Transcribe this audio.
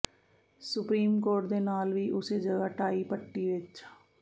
supreme court ਦੇ ਨਾਲ ਵੀ ਉਸੇ ਜਗ੍ਹਾ ਟਾਈ ਪੱਟੀ ਵਿੱਚ